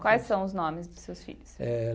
Quais são os nomes dos seus filhos? Eh.